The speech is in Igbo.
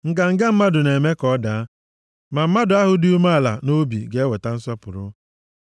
Nganga mmadụ na-eme ka ọ daa, ma mmadụ ahụ dị umeala nʼobi ga-eweta nsọpụrụ.